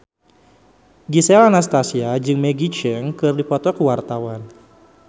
Gisel Anastasia jeung Maggie Cheung keur dipoto ku wartawan